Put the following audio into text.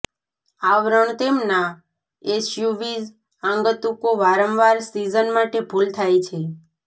આવરણ તેમના એસયુવીઝ આગંતુકો વારંવાર સિઝન માટે ભૂલ થાય છે